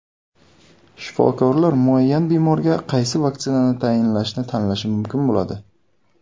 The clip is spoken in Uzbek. Shifokorlar muayyan bemorga qaysi vaksinani tayinlashni tanlashi mumkin bo‘ladi.